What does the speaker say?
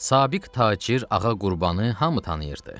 Sabiq tacir Ağa Qurbanı hamı tanıyırdı.